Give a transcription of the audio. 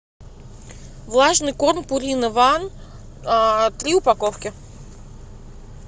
влажный корм пурина ван три упаковки